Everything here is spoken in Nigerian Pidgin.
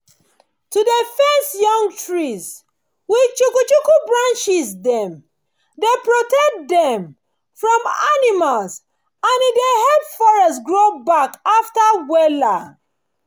to dey fence young trees with chuku-chuku branches dem dey protect them from animals and e dey help forest grow back after wella